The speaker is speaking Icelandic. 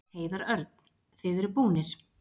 Heiðar Örn: Þið eruð búnir.